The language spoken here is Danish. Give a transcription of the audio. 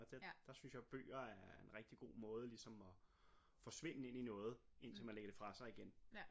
Der synes jeg bøger er en rigtig god måde ligesom at forsvinde ind i noget indtil man ligger det fra sig igen